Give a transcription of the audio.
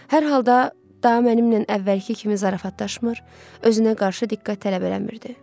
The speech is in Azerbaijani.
Hər halda daha mənimlə əvvəlki kimi zarafatlaşmır, özünə qarşı diqqət tələb eləmirdi.